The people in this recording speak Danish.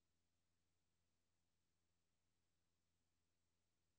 De har netop nedlagt veto imod at aftalen skrives under.